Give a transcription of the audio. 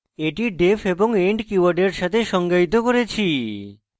এটি def এবং end কীওয়ার্ডের সাথে সংজ্ঞায়িত হয়েছে